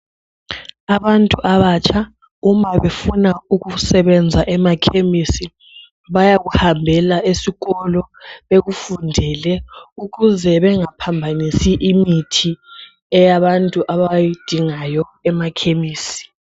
Abantu abatsha uma befuna ukusebenza emakhemisi, bayakuhambela esikolo bekufundele ukuze bengaphambanisi imithi eyabantu abayidingayo emakhemisi.